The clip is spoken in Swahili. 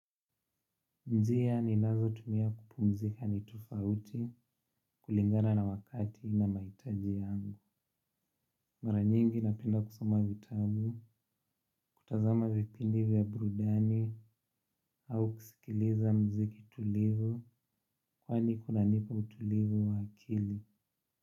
Njia ninazotumia kupumzika ni tofauti kulingana na wakati na mahitaji yangu. Mara nyingi napenda kusoma vitabu, kutazama vipindi vya burudani au kusikilizauziki tulivu kwani kunanipa utulivu wa akili.